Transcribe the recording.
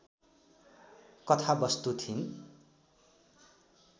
कथावस्तु थिइन्